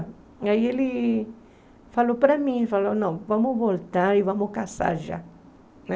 Aí ele falou para mim, falou, não, vamos voltar e vamos casar já, né?